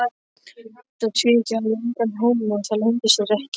Þetta tvíeyki hafði engan húmor, það leyndi sér ekki.